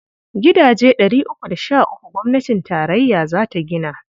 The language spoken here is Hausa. Gidaje ɗari uku da sh uku gwamnatin tarayya za ta gina.